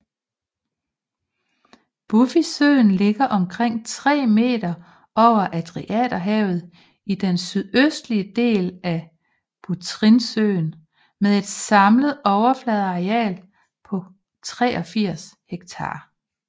Bufisøen ligger omkring 3 meter over Adriaterhavet i den sydøstlige del af Butrintsøen med et samlet overfladeareal på 83 hektar